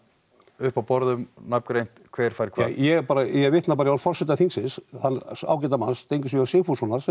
uppá borðum nafngreint hver fær hvað ég bara ég vitna bara í orð forseta þingsins þann ágæta mann Steingrím j Sigfússon